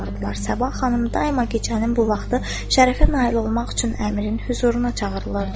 Səbah xanım daima gecənin bu vaxtı şərəfə nail olmaq üçün Əmirin hüzuruna çağırılırdı.